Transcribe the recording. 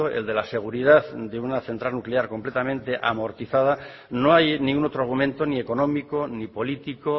el de la seguridad de una central nuclear completamente amortizada no hay ningún otro argumento ni económico ni político